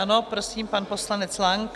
Ano, prosím, pane poslanec Lang.